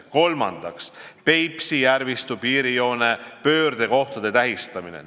Kolmandaks, Peipsi järvistu piirijoone pöördekohtade tähistamine.